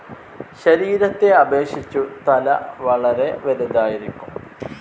ശരീരത്തെ അപേക്ഷിച്ചു തല വളെരെ വലുതായിരിക്കും.